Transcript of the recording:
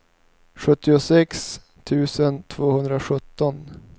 sjuttiosex tusen tvåhundrasjutton